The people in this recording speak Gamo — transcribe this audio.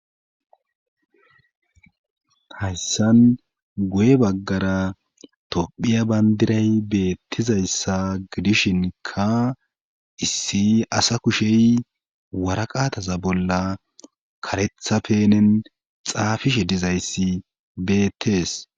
hayssan guye baggara tophiya bandiray beettizayssa gidishinkka issi asa kushey waraqataza bolla karetha penen xaafishe dizayssi beettees